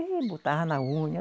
E botava na unha.